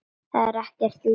Það er ekkert líf.